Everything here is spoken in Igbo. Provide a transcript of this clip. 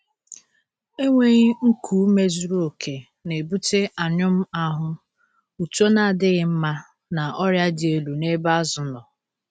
Enweghi nku ume zuru oke na-ebute anyụm ahụ, uto na-adịghị mma, na ọrịa dị elu n’ebe azụ nọ.